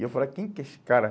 E eu falei, quem que é esse cara?